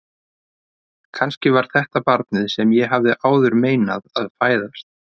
Kannski var þetta barnið sem ég hafði áður meinað að fæðast.